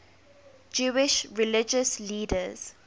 jewish religious leaders